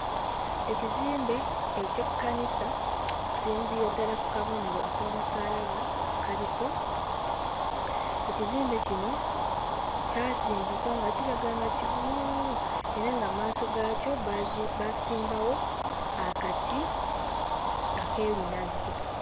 Ekizimbe eky'ekkanisa kusinziira ddala ku kabonero ak'omusaalaba akaliko ekizimbe kino kyazimbibwa nga kiraga nga kigumu era nga mmaaso gaakyo baazi baasimbawo akati ak'ebinazi.